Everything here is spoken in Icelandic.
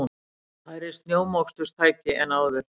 Færri snjómoksturstæki en áður